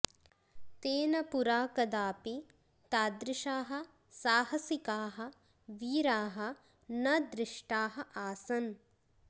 तेन पुरा कदापि तादृशाः साहसिकाः वीराः न दृष्टाः आसन्